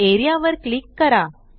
A R E A वर click करा